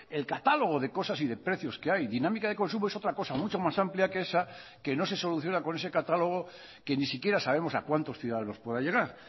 el catálogo de cosas y de precios que hay dinámica de consumo es otra cosa mucho más amplia que esa que no se soluciona con ese catálogo que ni siquiera sabemos a cuántos ciudadanos pueda llegar